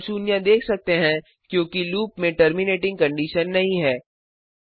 हम शून्य देख सकते हैं क्योंकि लूप में टर्मिनेटिंग कंडिशन नहीं है